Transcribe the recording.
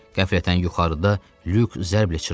Qəflətən yuxarıda lük zərblə çırpıldı.